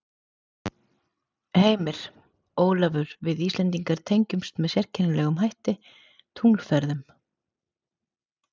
Heimir: Ólafur við Íslendingar tengjumst með sérkennilegum hætti tunglferðunum?